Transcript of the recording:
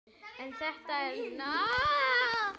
En þetta er látið nægja.